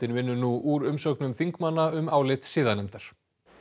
vinnur nú úr umsögnum þingmanna um álit siðanefndar